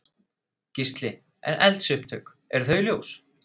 Gísli: En eldsupptök eru þau ljós?